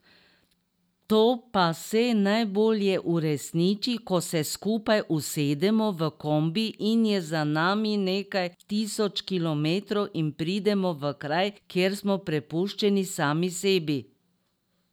To pa se najbolje uresniči, ko se skupaj usedemo v kombi in je za nami nekaj tisoč kilometrov in pridemo v kraj, kjer smo prepuščeni sami sebi.